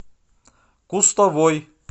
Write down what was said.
кустовой